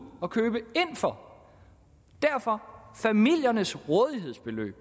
og købe ind for derfor familiernes rådighedsbeløb